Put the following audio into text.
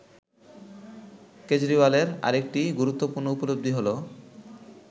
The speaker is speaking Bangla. কেজরিওয়ালের অরেকটি গুরুত্বপূর্ণ উপলব্ধি হল